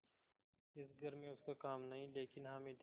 इस घर में उसका काम नहीं लेकिन हामिद